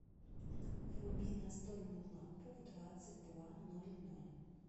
вруби настольную лампу в двадцать два ноль ноль